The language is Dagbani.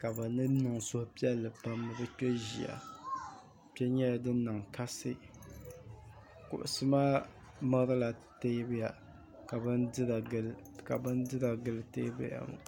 ka bɛ niŋdi suhupiɛli pam ni bɛ kpe ʒia kpe nyɛla din niŋ kasi kuɣisi maa mirila teebuya ka bidira gili teebuya maa